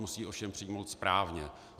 Musí ji ovšem přijmout správně.